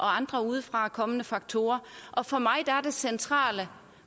andre udefrakommende faktorer for mig er det centrale